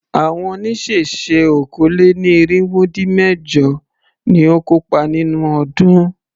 Àwọn oníṣẹ̀ṣe okòó-lé-ní-irínwó-dín-mẹ̀jọ ni ó kópa nínú ọdún.